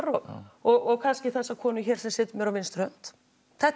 og og kannski þessa konu sem situr mér á vinstri hönd þetta